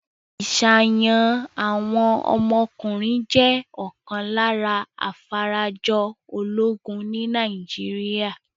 Ìṣàyàn àwọn ọmọkùnrin jẹ́ ọ̀kan lára afarajọ ológun ní Nàìjíríà.